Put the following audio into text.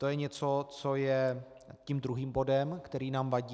To je něco, co je tím druhým bodem, který nám vadí.